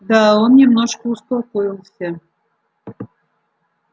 да он немножко успокоился